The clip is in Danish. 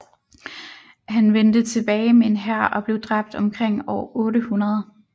Han vendte tilbage med en hær og blev dræbt omkring år 800